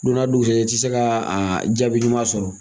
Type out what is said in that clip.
Don n'a dugusajɛ i tɛ se ka jaabi ɲuman sɔrɔ